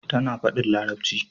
Tana fadin larabci